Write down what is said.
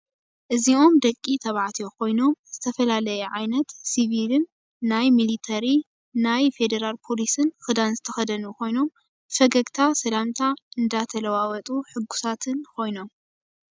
እዚኦም ደቂ ተባዕትዮ ኮይኖም ዝተፈላለየ ዓይነት ስቪልን ናይ ሚሊተሪ ናይ ፌደራል ፖሊስን ክዳን ዝተኸደኑ ኮይኖም ብፈገግታ ሰላምታ እንዳተለዋወጡን ሕጉሳት ምኳኖም ፡፡